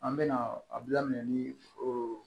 An bɛna a bila minɛ ni o